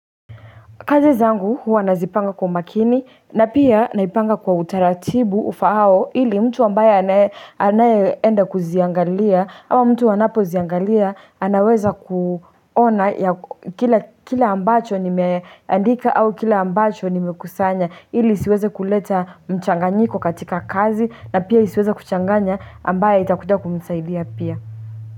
Kazi zangu hua nazipanga kwa umakini na pia naipanga kwa utaratibu ufaao ili mtu ambaye anaye enda kuziangalia ama mtu anapoziangalia anaweza kuona kila ambacho nimeandika au kile ambacho nimekusanya ili isiweza kuleta mchanganyiko katika kazi na pia isiweze kuchanganya ambaye itakuja kunisaidia pia.